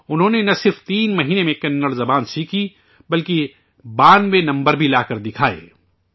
انہوں نے ، نہ صرف تین مہینے میں کنڑ زبان سیکھی بلکہ 92 ویں نمبر بھی لاکر دکھایا